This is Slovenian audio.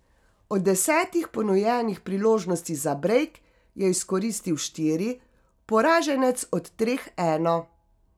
Od desetih ponujenih priložnosti za brejk je izkoristil štiri, poraženec od treh eno.